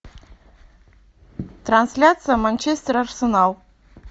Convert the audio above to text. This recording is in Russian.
трансляция манчестер арсенал